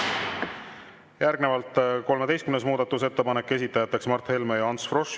Järgnevalt 13. muudatusettepanek, esitajaks Mart Helme ja Ants Frosch.